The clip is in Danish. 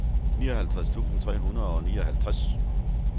nioghalvtreds tusind tre hundrede og nioghalvtreds